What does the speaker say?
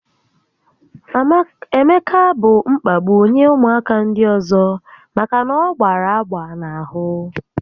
Emeka bụ mkpagbu nye ụmụaka ndị ọzọ maka na ọ gbara agba n'ahụ